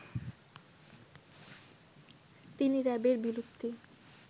তিনি র‍্যাবের বিলুপ্তি